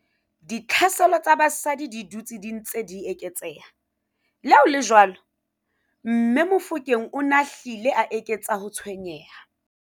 Ditlhaselo tsa basadi di dutse di ntse di eketseha, leha ho le jwalo, mme Mofokeng o ne a hlile a eketsa ho tshwenyeha.